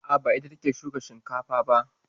A'a, ba ita ce take shukan shinkafa ba.